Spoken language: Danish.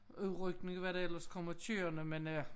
Udrykning og hvad der ellers kommer kørende men øh